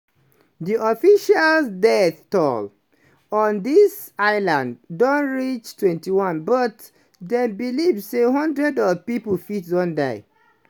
di official death toll on di islands don reach 21 but dem believe say hundreds of pipo fit don die.